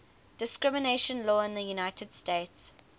discrimination law in the united states